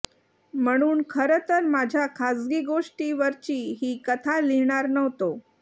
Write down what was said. म्हणून खरं तर माझ्या खाजगी गोष्टी वरची ही कथा लिहीणार नव्हतो